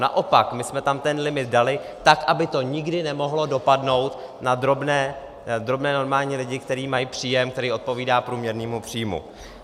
Naopak, my jsme tam ten limit dali tak, aby to nikdy nemohlo dopadnout na drobné normální lidi, kteří mají příjem, který odpovídá průměrnému příjmu.